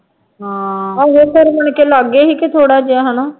ਆਹ ਲਾਗੇ ਸੀ ਕਿ ਥੋੜ੍ਹਾ ਜਿਹਾ ਹੈ ਨਾ